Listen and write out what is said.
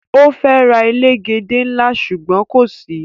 O fe ra elegede nla sugbon ko si